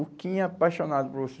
O Quim é apaixonado por você